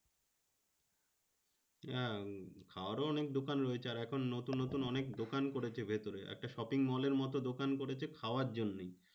হ্যাঁ খাওয়ারও অনেক দোকান রয়েছে। আর এখন নতুন নতুন অনেক দোকান করেছে ভেতরে। একটা shopping mall এর মতো দোকান করেছে খাওয়ার জন্যেই।